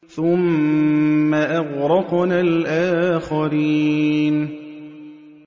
ثُمَّ أَغْرَقْنَا الْآخَرِينَ